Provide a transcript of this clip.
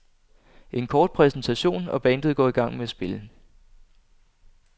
En kort præsentation, og bandet går i gang med at spille.